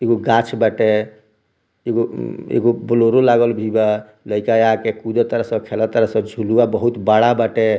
एगो गाछ बाटे एगो-एगो बुलेरो लागल भी बा। लईका आके कूदतार सब खेलतार सब झुलवा बहुत बड़ा बाटे।